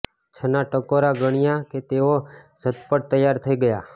છના ટકોરા ગણ્યા કે તેઓ ઝતપટ તૈયાર થઈ ગયા